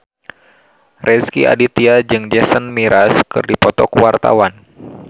Rezky Aditya jeung Jason Mraz keur dipoto ku wartawan